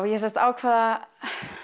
ég sem sagt ákvað að